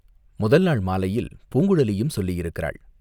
முதல்நாள் மாலையில் பூங்குழலியும் சொல்லியிருக்கிறாள்.